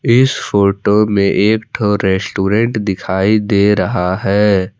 इस फोटो में एक ठो रेस्टोरेंट दिखाई दे रहा है।